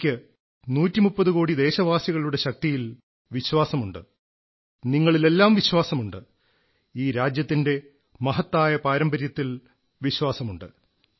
എനിക്ക് 130 കോടി ദേശവാസികളുടെ ശക്തിയിൽ വിശ്വാസമുണ്ട് നിങ്ങളിലെല്ലാം വിശ്വാസമുണ്ട് ഈ രാജ്യത്തിന്റെ മഹത്തായ പാരമ്പര്യത്തിൽ വിശ്വാസമുണ്ട്